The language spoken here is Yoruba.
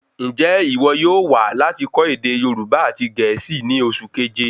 Njẹ iwọ yóò wá láti kọ́ ède Yorùbá àti gẹ̀ẹ́sì ní oṣù keje?